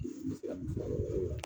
N bɛ se ka min fɔ o yɔrɔ la